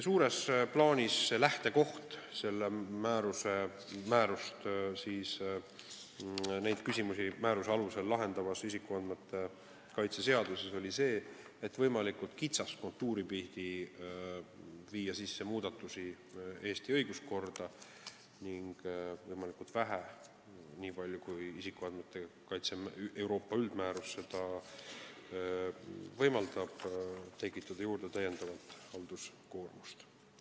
Suures plaanis oli lähtekoht neid küsimusi määruse alusel lahendavas isikuandmete kaitse seaduses see, et võimalikult kitsast kontuuri pidi teha muudatusi Eesti õiguskorda ning võimalikult vähe – nii palju kui isikuandmete kaitse Euroopa üldmäärus seda võimaldab – tekitada juurde halduskoormust.